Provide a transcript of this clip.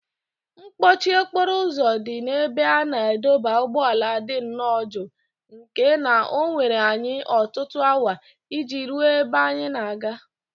Mkpọchi okporo ụzọ dị n’ebe a na-adọba ụgbọala dị nnọọ njọ nke na o were anyị ọtụtụ awa iji ruo ebe anyị na-aga.